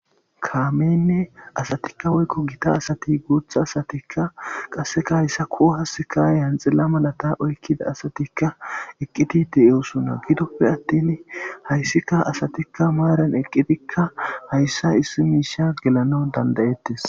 kaamenne asatikka woykko gita asati guutha asatikka qasseka hayssa kuo hassika yanxila malata oykkida asatikka eqqitite eosuna gidoppe attin hayssika asatikka maaran eqqitikka hayssa issi miisha gelana dandayettes